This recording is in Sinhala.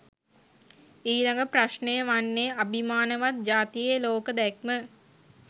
ඊළඟ ප්‍රශ්ණය වන්නේ අභිමානවත් ජාතියේ ලෝක දැක්ම